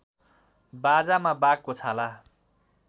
बाजामा बाघको छाला